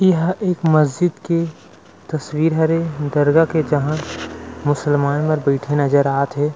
यह एक महजिद के तस्वीर हरे दर्गा के जहाँ मुसलमान मर बइठे नज़र आत हे।